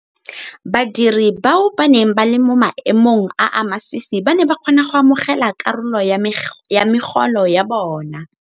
Badiri bao ba neng ba le mo maemong a a masisi ba ne ba kgona go amogela karolo ya megolo ya bona.